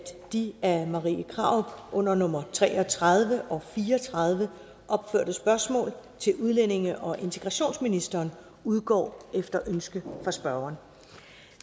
de af marie krarup under nummer tre og tredive og fire og tredive opførte spørgsmål til udlændinge og integrationsministeren udgår efter ønske fra spørgeren